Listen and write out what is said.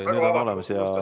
Ei ole hullu.